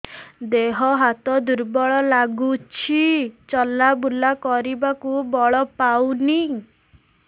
ଦେହ ହାତ ଦୁର୍ବଳ ଲାଗୁଛି ଚଲାବୁଲା କରିବାକୁ ବଳ ପାଉନି